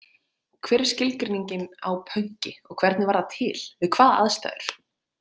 Hver er skilgreiningin á pönki og hvernig varð það til, við hvaða aðstæður?